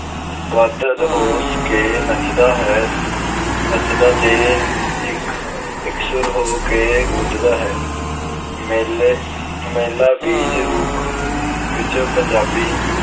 ਬੱਧ ਹੋ ਕੇ ਨੱਚਦਾ ਹੈ ਅਹ ਨੱਚਦਾ ਤੇ ਇਕਸੁਰ ਹੋ ਕੇ ਗੂੰਜਦਾ ਹੈ। ਮੇਲੇ ਅਹ ਮੇਲਾ ਬੀਜ ਰੂਪ ਵਿੱਚ ਪੰਜਾਬੀ